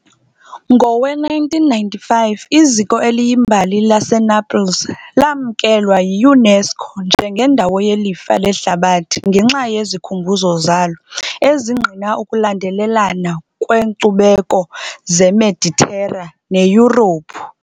Ngowe-1995 iziko eliyimbali laseNaples lamkelwa yiUNESCO njengendawo yelifa lehlabathi ngenxa yezikhumbuzo zalo, ezingqina ukulandelelana kweenkcubeko zeMeditera neYurophu.